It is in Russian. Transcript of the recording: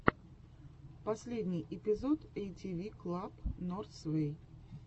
последний эпизод эйтиви клаб норзвэй